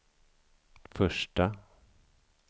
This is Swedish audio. första